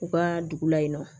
U ka dugu la yen nɔ